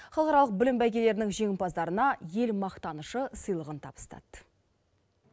халықаралық білім бәйгелерінің жеңімпаздарына ел мақтанышы сыйлығын табыстады